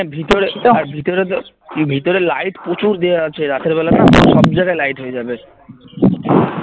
আর ভিতরে ভিতরে তো ভিতরে light প্রচুর দেওয়া আছে রাতের বেলা না সব জায়গায় light হয়ে যাবে